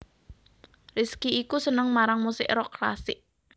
Rizky iku seneng marang musik rock klasik